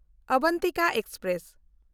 Avantika express